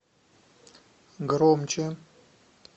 громче